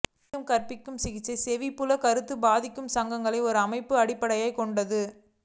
மீண்டும்கற்பி சிகிச்சை செவிப்புல கருத்து பாதிக்கும் சங்கங்கள் ஒரு அமைப்பு அடிப்படையாக கொண்டது